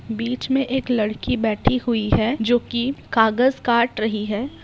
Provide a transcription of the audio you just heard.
बीच में एक लड़की बैठी हुई है जो कि कागज काट रही है।